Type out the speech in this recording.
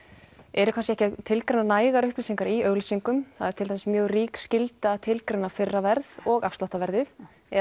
eru kannski ekki að tilgreina nægar upplýsingar í auglýsingum það er til dæmis mjög rík skylda að tilgreina fyrra verð og afsláttar verðið